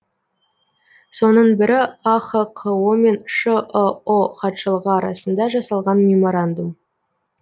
соның бірі ахқо мен шыұ хатшылығы арасында жасалған меморандум